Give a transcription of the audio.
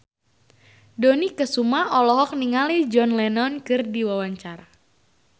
Dony Kesuma olohok ningali John Lennon keur diwawancara